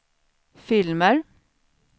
filmer